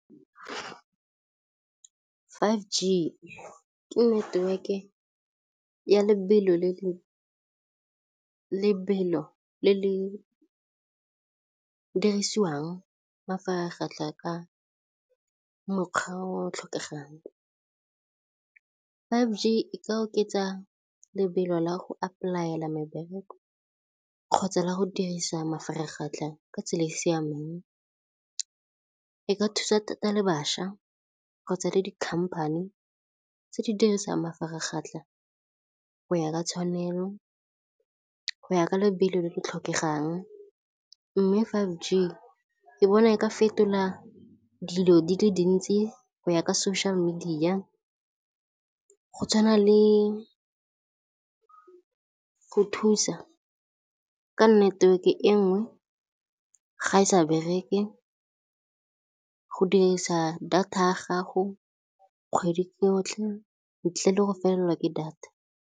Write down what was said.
five G ke network-e ya lebelo le le dirisiwang ka mokgwa o o tlhokegang. five G e ka oketsa lebelo la go apply-ela mebereko kgotsa la go dirisa mafaratlhatlha ka tsela e e siameng e ka thusa thata le bašwa kgotsa le di-company tse di dirisang mafaratlhatlha go ya ka tshwanelo go ya ka lebelo le le tlhokegang mme five G ke bona e ka fetola dilo di le dintsi go ya ka social media go tshwana le go thusa ka network-e e nngwe ga e sa bereke, go dirisa data ya gago kgwedi yotlhe ntle le go felelwa ke data.